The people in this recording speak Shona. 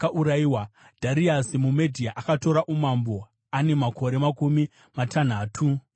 Dhariasi muMedhia akatora umambo ane makore makumi matanhatu namaviri.